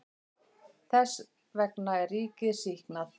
Þess vegna er ríkið sýknað.